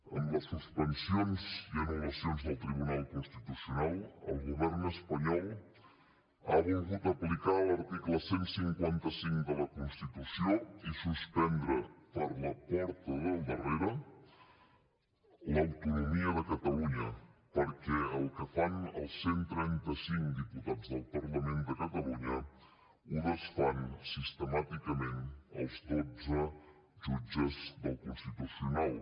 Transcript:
amb les suspensions i anul·lacions del tribunal constitucional el govern espanyol ha volgut aplicar l’article cent i cinquanta cinc de la constitució i suspendre per la porta del darrere l’autonomia de catalunya perquè el que fan els cent i trenta cinc diputats del parlament de catalunya ho desfan sistemàticament els dotze jutges del constitucional